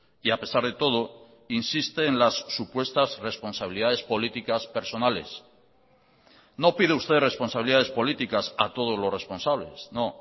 y a pesar de todo insiste en las supuestas responsabilidades políticas personales no pide usted responsabilidades políticas a todos los responsables no